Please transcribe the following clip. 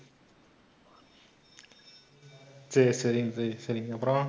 சரி, சரிங்க, சரி, சரிங்க அப்புறம்?